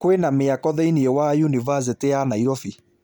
kwĩ na mĩako thĩinĩ wa yunivasĩtĩ ya Nairobi